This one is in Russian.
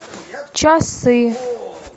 часы